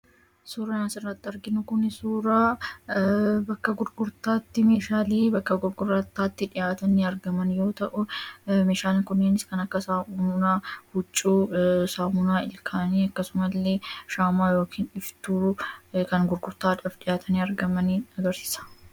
Suuraan asirratti arginu kun suuraa bakka gurgurtaatti meeshaalee bakka gurgurataatti dhihaatanii argaman yoota'u; Meeshaalee kunneenis kan akka Saamunaa huccuu, Saamunaa ilkaanii, akkasuma illee shaamaa yookaan iftuu kan gurgurtaaf dhi'aatani argamani agarsiisa.